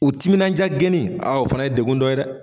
U timinandiya gɛni a o fana ye degun dɔ ye dɛ.